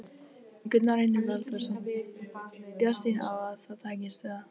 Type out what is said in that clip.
Gunnar Reynir Valþórsson: Bjartsýn á að það takist, eða?